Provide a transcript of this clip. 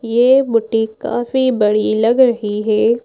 ये बुटीक काफी बड़ी लग रही है।